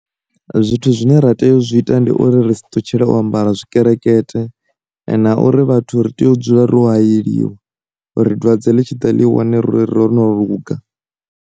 Zwithu zwine ra tea u zwi ita ndi uri ri si ṱutshela o ambara tshikelekete, na uri vhathu ri tea u dzula ri u hayeliwa uri dwadze ḽi tshi ḓa ḽi wane ro no luga.